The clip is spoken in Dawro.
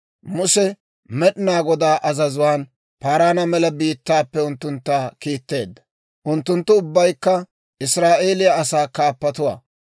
Muse Med'inaa Godaa azazuwaan Paaraana Mela biittaappe unttuntta kiitteedda. Unttunttu ubbaykka Israa'eeliyaa asaa kaappatuwaa.